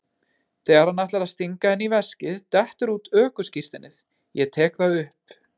Þegar hann ætlar að stinga henni í veskið dettur út ökuskírteinið, ég tek það upp.